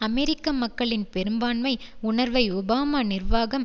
அமெரிக்க மக்களின் பெரும்பான்மை உணர்வை ஒபாமா நிர்வாகம்